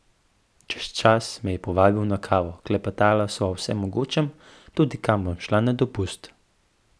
Čez čas me je povabil na kavo, klepetala sva o vsem mogočem, tudi kam bom šla na dopust.